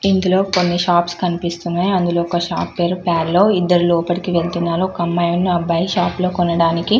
ఇందులో కొన్ని షాప్స్ కనిపిస్తున్నాయి అందులో ఒక షాప్ పేరు పేర్లో ఇద్దరు లోపలికి వెళ్తున్నారు ఒక అమ్మాయి అబ్బాయి షాపులో కొనడానికి --